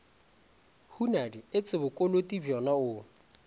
hunadi etse bokoloti bjona o